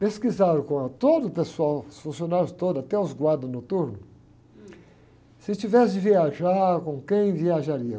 Pesquisaram com ah, todo o pessoal, os funcionários todos, até os guardas noturnos, se tivesse de viajar, com quem viajaria?